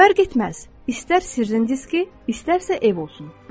Fərq etməz, istər sirrin diski, istərsə ev olsun.